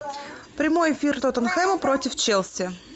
прямой эфир тоттенхэма против челси